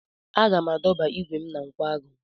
Aga m adọba igwe m na nkwagu.